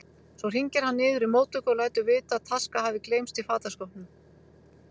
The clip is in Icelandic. Svo hringir hann niður í móttöku og lætur vita að taska hafi gleymst í fataskápnum.